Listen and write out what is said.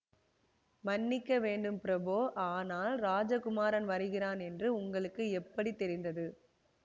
மன்னிக்க வேண்டும் பிரபோஆனால் ராஜ குமாரன் வருகிறான் என்று உங்களுக்கு எப்படி தெரிந்தது